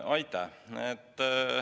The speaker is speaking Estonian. Aitäh!